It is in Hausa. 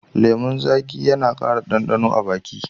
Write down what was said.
Lemun zaƙi yana ƙara ɗanɗano a baki